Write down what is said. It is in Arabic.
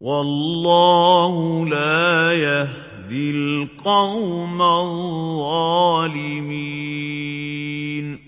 وَاللَّهُ لَا يَهْدِي الْقَوْمَ الظَّالِمِينَ